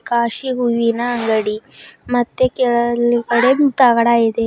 ಕಾಶಿ ಹೂವಿನ ಅಂಗಡಿ ಮತ್ತೆ ಕೆಳಗಡೆ ತಗಡಾ ಇದೆ.